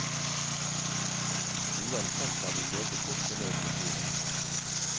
Uansett var vi meget godt fornøyd med turen.